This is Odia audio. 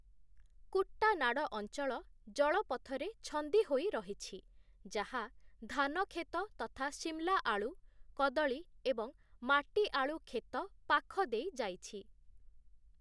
କୁଟ୍ଟାନାଡ଼ ଅଞ୍ଚଳ ଜଳପଥରେ ଛନ୍ଦି ହୋଇ ରହିଛି, ଯାହା ଧାନ କ୍ଷେତ ତଥା ଶିମଲା ଆଳୁ, କଦଳୀ ଏବଂ ମାଟି ଆଳୁ କ୍ଷେତ ପାଖ ଦେଇ ଯାଇଛି ।